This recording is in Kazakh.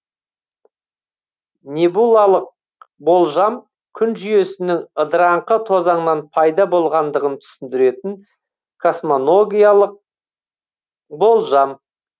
небулалық болжам күн жүйесінің ыдыраңқы тозаңнан пайда болғандығын түсіндіретін космогониялық болжам